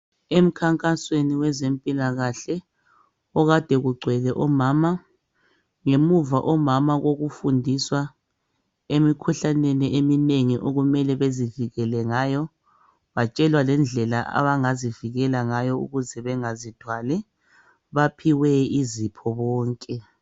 Emkhankasweni wezempilakahle okade kugcwele omama. Ngemuva omama kokufundiswa emikhuhlaneni eminengi okumele bezivikele ngayo, batshelwa lendlela abangazivikela ngayo ukuze bengazithwali baphiwe izipho bonke.